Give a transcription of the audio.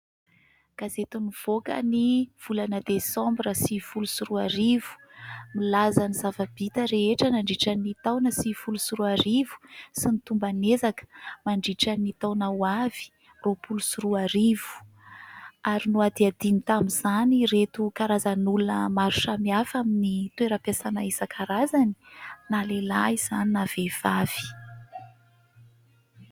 Gazety nivoaka ny volana desambra sivifolo sy roarivo. Nilaza ny zava-bita rehetra nandritra ny taona sivifolo sy roarivo sy ny tomban' ezaka mandritran' ny taona ho avy roapolo sy roarivo ary nohadihadiany tamin'izany reto karazan' olona maro samihafa amin' ny toeram-piasana isankarazany na lehilahy izany na vehivavy.